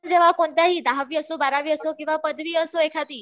दहावी असो बारावी असो किंवा पदवी असो एखादी